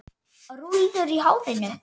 Rúllur í hárinu.